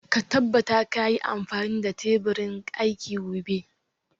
Ka tabbata ka yi amfani da teburin aiki gobe